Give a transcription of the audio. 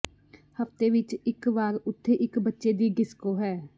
ਹਫ਼ਤੇ ਵਿਚ ਇਕ ਵਾਰ ਉੱਥੇ ਇਕ ਬੱਚੇ ਦੀ ਡਿਸਕੋ ਹੈ